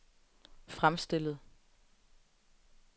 fremstillet